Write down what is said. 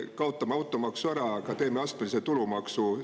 Kaotame automaksu ära, aga teeme astmelise tulumaksu.